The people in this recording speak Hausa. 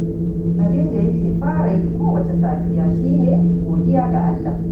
Abin da yake fara yi kowacce safiya shi ne, godiya ga Allah